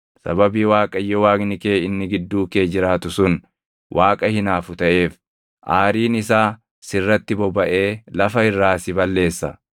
sababii Waaqayyo Waaqni kee inni gidduu kee jiraatu sun Waaqa hinaafu taʼeef, aariin isaa sirratti bobaʼee lafa irraa si balleessa.